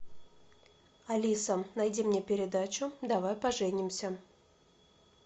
алиса найди мне передачу давай поженимся